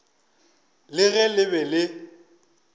le ge le be le